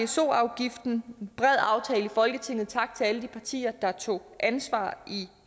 pso afgiften ved bred aftale i folketinget tak til alle de partier der tog ansvar i